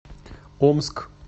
омск